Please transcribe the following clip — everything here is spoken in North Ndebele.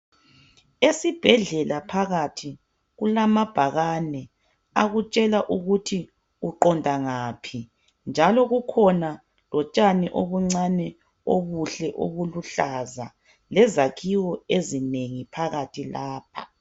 Esibhedlela phakathi kulamabhakane akutshela ukuthi uqonda ngaphi, njalo kukhona lotshani obuncane obuhle obuluhlaza, lezakhiwo ezinengi phakathi lapha.